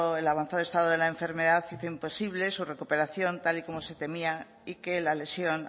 el avanzado estado de la enfermedad hizo imposible su recuperación tal y como se temía y que la lesión